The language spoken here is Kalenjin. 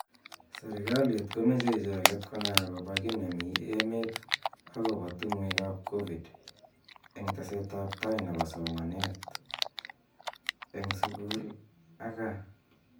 Serekalit komeche icheket konai akobo ki nemi emet akobo tungwek ab covid eng teset ab tai nebo somanet eng sukl ak kaa.